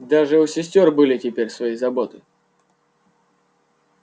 даже у сестёр были теперь свои заботы